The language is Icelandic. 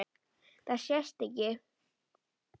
Það sést ekki.